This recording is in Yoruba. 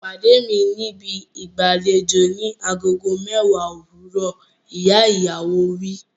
Pàdé mi níbi ìgbàlejò ni agogo mẹ́wàá òwúrọ̀! Ìyá ìyàwó wí.